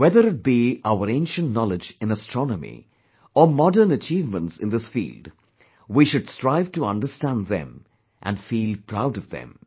Whether it be our ancient knowledge in astronomy, or modern achievements in this field, we should strive to understand them and feel proud of them